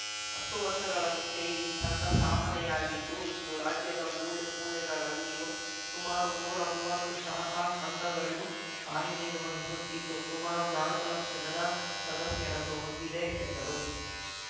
ಹತ್ತು ವರ್ಷಗಳ ಹಿಂದೆ ಈ ಸಂಘ ಸ್ಥಾಪನೆಯಾಗಿದ್ದು ಇಂದು ರಾಜ್ಯದ ಮೂಲೆ ಮೂಲೆಗಳಲ್ಲಿಯೂ ಸುಮಾರು ನೂರಾ ಮುವತ್ತು ಶಾಖಾ ಸಂಘಗಳು ಕಾರ್ಯನಿರ್ವಹಿಸುತ್ತಿದ್ದು ಸುಮಾರು ನಾಲ್ಕು ಲಕ್ಷ ಜನ ಸದಸ್ಯರನ್ನು ಹೊಂದಿದೆ ಎಂದರು